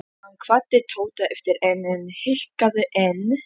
Hann kvaddi Tóta aftur EN en hikaði enn.